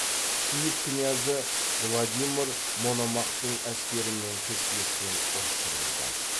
киев князі владимир мономахтың әскерімен кескілескен ұрыс жүргізді